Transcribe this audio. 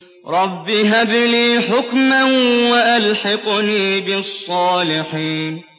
رَبِّ هَبْ لِي حُكْمًا وَأَلْحِقْنِي بِالصَّالِحِينَ